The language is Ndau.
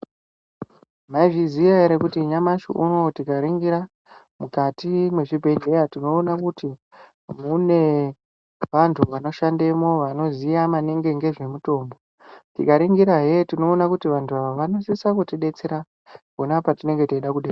Maizviziya ere kuti nyamashi unowu tikaningira mukati mwezvibhehleya tinoona kuti mune vantu vano shandemwo vanoziya maningi ngezve mutombo. Tikaningira hee tinoona kuti vantu ava vanosisa kutibetsera pona patinenge teida.